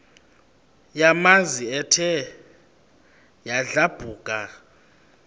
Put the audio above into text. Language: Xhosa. yamanzi ethe yadlabhuka